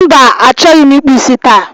Mba, achọghị ịkpụ isi taa